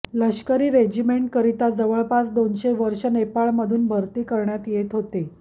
लष्करी रेजिमेंटकरिता जवळपास दोनशे वर्षं नेपाळमधून भरती करण्यात येत होती